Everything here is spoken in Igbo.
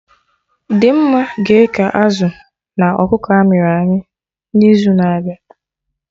Dimma ga-eke azụ na ọkụkọ amịrị amị na izu na abịa